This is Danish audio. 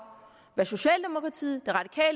hvad socialdemokratiet